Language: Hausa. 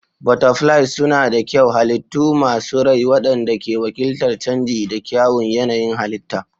Butterflies suna da kyau, halittu masu rai waɗanda ke wakiltar canji da kyawun yanayin halitta.